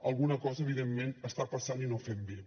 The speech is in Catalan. alguna cosa evidentment està passant i no fem bé